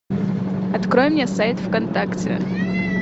открой мне сайт вконтакте